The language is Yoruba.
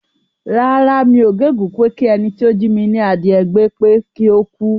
Rárá, mi ò gégùn ún pé kí ẹni tí ó jí mi ní adìyẹ gbé pé kí ó kú.